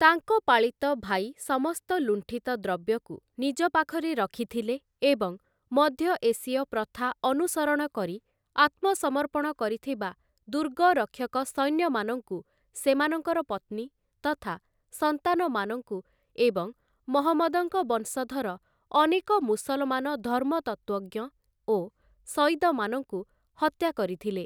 ତାଙ୍କ ପାଳିତ ଭାଇ ସମସ୍ତ ଲୁଣ୍ଠିତ ଦ୍ରବ୍ୟକୁ ନିଜ ପାଖରେ ରଖିଥିଲେ ଏବଂ ମଧ୍ୟ ଏସୀୟ ପ୍ରଥା ଅନୁସରଣ କରି ଆତ୍ମସମର୍ପଣ କରିଥିବା ଦୁର୍ଗରକ୍ଷକ ସୈନ୍ୟମାନଙ୍କୁ, ସେମାନଙ୍କର ପତ୍ନୀ ତଥା ସନ୍ତାନମାନଙ୍କୁ ଏବଂ ମହମ୍ମଦଙ୍କ ବଂଶଧର ଅନେକ ମୁସଲମାନ ଧର୍ମତତ୍ତ୍ଵଜ୍ଞ ଓ ସୟିଦମାନଙ୍କୁ ହତ୍ୟା କରିଥିଲେ ।